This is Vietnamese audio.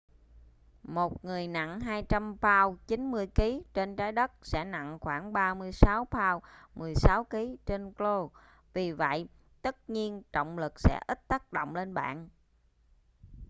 một người nặng 200 pao 90kg trên trái đất sẽ nặng khoảng 36 pao 16kg trên io. vì vậy tất nhiên trọng lực sẽ ít tác động lên bạn